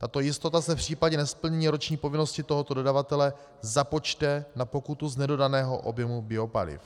Tato jistota se v případě nesplnění roční povinnosti tohoto dodavatele započte na pokutu z nedodaného objemu biopaliv.